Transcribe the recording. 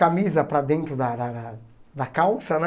Camisa para dentro da da da da calça, né?